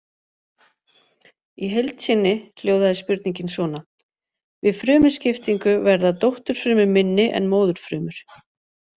Í heild sinni hljóðaði spurningin svona: Við frumuskiptingu verða dótturfrumur minni en móðurfrumur.